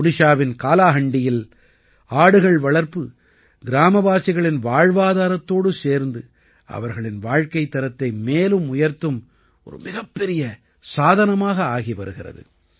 ஒடிஷாவின் காலாஹாண்டியில் ஆடுகள் வளர்ப்பு கிராமவாசிகளின் வாழ்வாதாரத்தோடு சேர்ந்து அவர்களின் வாழ்க்கைத் தரத்தை மேலும் உயர்த்தும் ஒரு மிகப்பெரிய சாதனமாக ஆகி வருகிறது